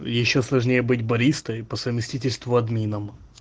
ещё сложнее быть баристой и по совместительству админом